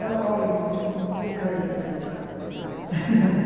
Eu olhe, eu sei como saem os barcos da Itália.